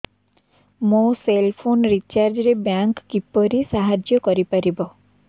ମୋ cell phone recharge ରେ bank କିପରି ସାହାଯ୍ୟ କରିପାରିବ